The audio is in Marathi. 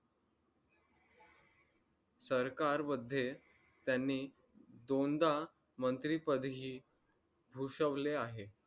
सरकारमध्ये त्यांनी दोनदा मंत्रिपद ही भुसवले आहे